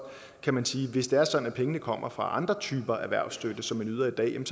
kan man sige at hvis det er sådan at pengene kommer fra andre typer erhvervsstøtte som man yder i dag kan